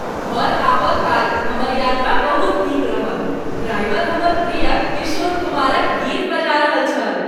घर आबय काल हमर यात्रा बहुत नीक रहल। ड्राइवर हमर प्रिय किशोर कुमारक गीत बजा रहल छल ।